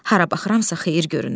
Hara baxıramsa xeyir görünür.